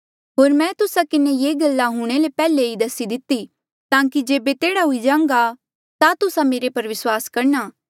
होर मैं तुस्सा किन्हें ये सारी गल्ला हूंणे ले पैहले ई दसी दिती ताकि जेबे तेह्ड़ा हुई जान्घा ता तुस्सा मेरे पर विस्वास करणा